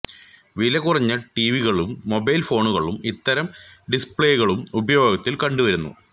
വിലകുറഞ്ഞ ടീവികളിലും മൊബൈൽ ഫോണുകളിലും ഇത്തരം ഡിസ്പ്ളേകൾ ഉപയോഗത്തിൽ കണ്ടു വരുന്നു